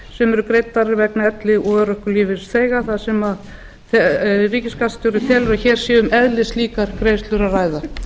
sem eru greiddar vegna elli og örorkulífeyrisþega þar sem ríkisskattstjóri telur hér sé um eðlislíkar greiðslur að ræða